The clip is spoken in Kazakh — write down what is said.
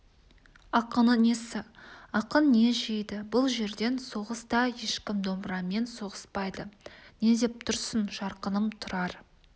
ақыны несі ақын не жейді бұл жерден соғыста ешкім домбырамен соғыспайды не деп тұрсың жарқыным тұрар